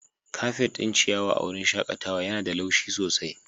Kafet ɗin ciyawa a wurin shakatawa yana da laushi sosai.